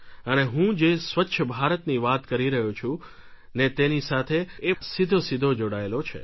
અને હું જે સ્વચ્છ ભારતની વાત કરી રહ્યો છું ને તેની સાથે એ સીધેસીધો જોડાયેલો છે